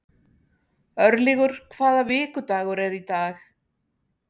Örlygur, hvaða vikudagur er í dag?